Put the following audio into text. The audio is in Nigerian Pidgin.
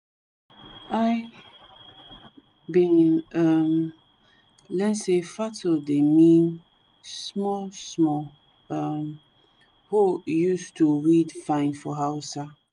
i bin um learn say fato dey mean small small um hoe use to weed fine for hausa